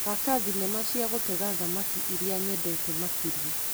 Thaka thinema cia gutega thamaki iria nyendete makĩria .